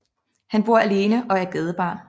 Han bor alene og er gadebarn